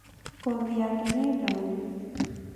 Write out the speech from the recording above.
Ngothi yake nĩ ndune